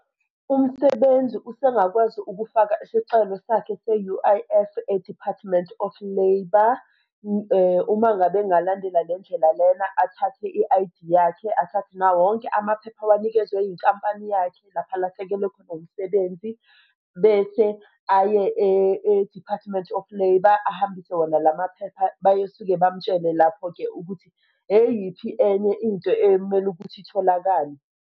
Umsebenzi usengakwazi ukufaka isicelo sakhe se-U_I_F e-Department of Labour, uma ngabe engalandela le ndlela lena, athathe i-I_D yakhe, athathe nawo wonke amaphepha awanikezwa yinkampani yakhe lapha alahlekelwe khona umsebenzi, bese aye e-Department of Labour ahambise wona la maphepha. Bayosuke bamutshele lapho-ke ukuthi eyiphi enye into ekumele ukuthi itholakale.